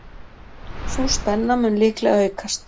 Sú spenna mun líklega aukast.